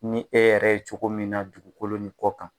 Ni e yɛrɛ ye cogo min na dugukolo ni kɔ kan.